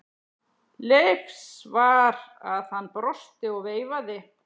Leifs var að hann brosti og veifaði.